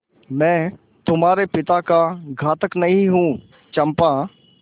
मैं तुम्हारे पिता का घातक नहीं हूँ चंपा